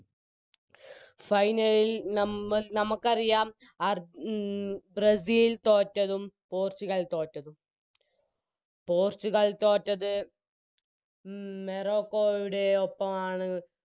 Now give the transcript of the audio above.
Final ൽ നമ നമക്കറിയാം അർ മ് ബ്രസീൽ തോറ്റതും പോർച്ചുഗൽ തോറ്റതും പോർച്ചുഗൽ തോറ്റത് മ് മെറോക്കോയുടെ ഒപ്പമാണ്